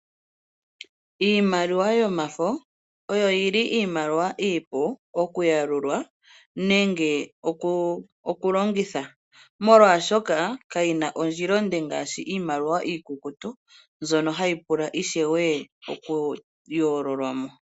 Iimaliwa yomafo oyo yili iimaliwa iipu okuyalula nenge okulongitha, molwaashoka kayi na ondjila onde ngaashi iimaliwa iikukutu mbyono hayi pula ishewe oku yoololwa mo.